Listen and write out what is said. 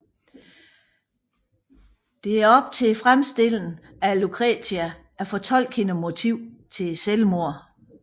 Det er op til fremstillen af Lucretia at fortolke hendes motiv til selvmordet